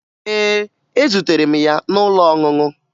Ee, etutere m ya n'ụlọ ọṅụṅụ